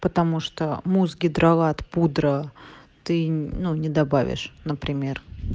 потому что муж гидролат пудра ты не добавишь например